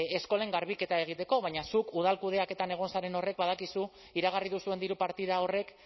eskolen garbiketa egiteko baina zuk udal kudeaketan egon zaren horrek badakizu iragarri duzuen diru partida horrek